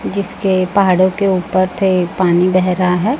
जिसके पहाड़ों के ऊपर थे पानी बह रहा है।